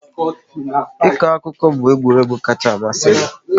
Ịkọ akụkọ bụ egwuregwu kacha amasị m